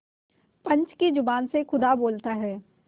पंच की जबान से खुदा बोलता है